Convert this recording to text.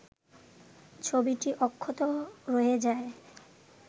ছবিটি অক্ষত রয়ে যায়